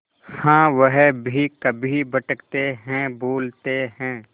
हाँ वह भी कभी भटकते हैं भूलते हैं